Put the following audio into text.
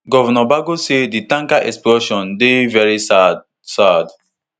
govnor bago say di tanker explosion dey veri sad sad